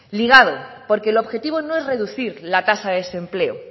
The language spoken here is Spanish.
ligado porque el objetivo no es reducir la tasa de desempleo